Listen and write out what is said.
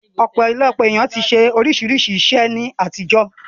Ọ̀pọ̀lọpọ̀ èèyàn ti ṣe oríṣiríṣi iṣẹ́ ní àtijọ́